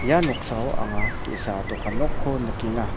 ia noksao anga ge·sa dokan nokko nikenga.